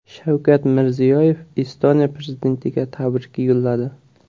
Shavkat Mirziyoyev Estoniya prezidentiga tabrik yo‘lladi.